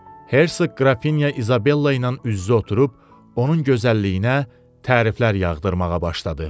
Herseq qrafinya İzabella ilə üz-üzə oturub onun gözəlliyinə təriflər yağdırmağa başladı.